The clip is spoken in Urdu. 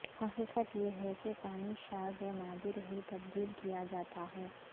حقیقت یہ ہے کہ پانی شاذ و نادر ہی تبدیل کیا جاتا ہے